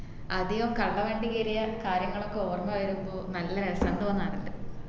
ആദ്യം കള്ളവണ്ടി കേറിയ കാര്യങ്ങളൊക്കെ ഓർമ വരുമ്പോ നല്ല രസം തോന്നാറുണ്ട്